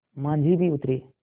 माँझी भी उतरे